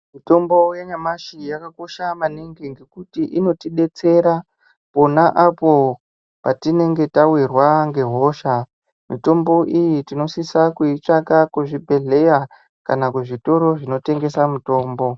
Mitombo yanyamshi yakakosha maningi ngokuti inotidetsera pona apo patinenge tawirwa ngehosha mitombo iyi tinosisa kuitsvaka kuzvibhehleya kana kuzvitoro zvinotengese mitombo.